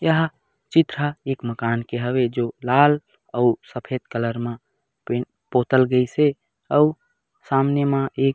यह चित्र ह एक मकान के हवे जो लाल अऊ सफ़ेद कलर म पै पोतल गईसे अऊ सामने म एक--